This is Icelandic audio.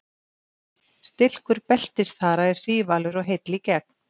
stilkur beltisþara er sívalur og heill í gegn